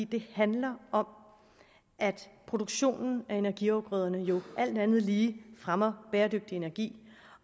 det handler om at produktionen af energiafgrøder jo alt andet lige fremmer bæredygtig energi